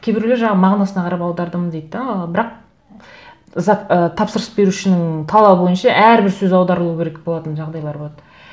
кейбіреулер жаңағы мағынасына қарап аудардым дейді де ы бірақ ы тапсырыс берушінің талабы бойынша әрбір сөз аударылуы керек болатын жағдайлар болады